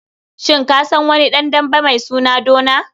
Shin ka san wani ɗan dambe mai suna Duna?